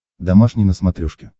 домашний на смотрешке